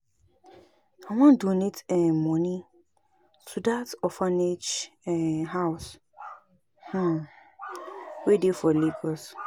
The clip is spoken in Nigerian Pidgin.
I wan donate um money to dat orphanage um house um wey dey for Lagos